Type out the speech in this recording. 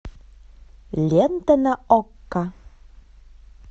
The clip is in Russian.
лента на окко